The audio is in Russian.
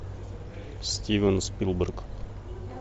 стивен спилберг